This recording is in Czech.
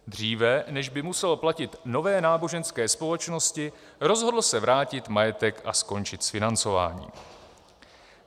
Dříve, než by musel platit nové náboženské společnosti, rozhodl se vrátit majetek a skončit s financováním.